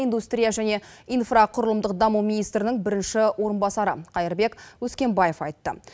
индустрия және инфрақұрылымдық даму министрінің бірінші орынбасары қайырбек өскенбаев айтты